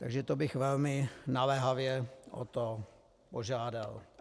Takže to bych velmi naléhavě o to požádal.